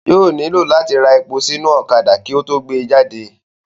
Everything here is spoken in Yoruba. Yóò nílò láti ra epo sí inú ọ̀kadà kí ó tó gbé e jáde